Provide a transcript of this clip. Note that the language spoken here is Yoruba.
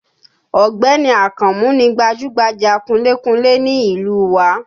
Ọ̀gbẹ́ni Akànmú ni gbajúmọ̀ kunlé kunlé ní ìlú u wa